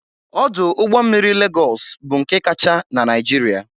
Ọdụ ụgbọ mmiri Legọs bụ nke kacha na Naịjirịa